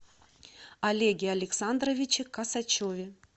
олеге александровиче косачеве